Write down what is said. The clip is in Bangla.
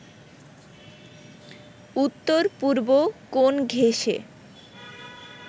উত্তর-পূর্ব কোণ ঘেঁষে